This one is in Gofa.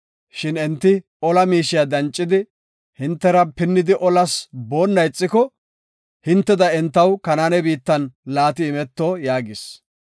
Shin enti ola miishiya dancidi, hintera pinnidi olas boonna ixiko, hinteda entaw Kanaane biittan laati imeto” yaagis.